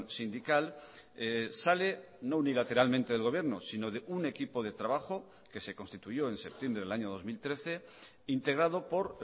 sindical sale no unilateralmente del gobierno sino de un equipo de trabajo que se constituyó en septiembre del año dos mil trece integrado por